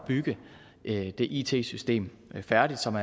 bygge det it system færdigt som